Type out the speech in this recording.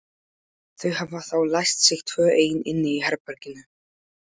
Þau hafa þá læst sig tvö ein inni í herberginu.